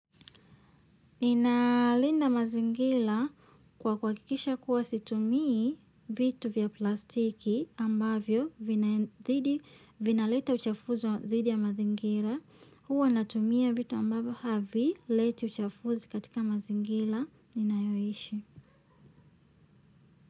Ninalinda mazingira kwa kuhakikisha kuwa situmii vitu za plastiki ambavyo vinazidi vinaleta uchafuzi wa zaidi ya mazingira. Huwa natumia vitu ambavyo havileti uchafuzi katika mazingira ninayoishi.